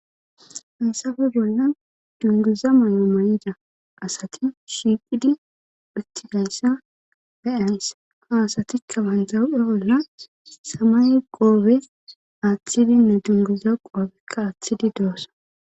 Haysafe bolla dunguza may7o may7ida asati shiiqidi phittigayssa beyansa ha asatikka banjaw7e bolla samay qoobe aaththidinne dunguza qoobekka aaththidi doossa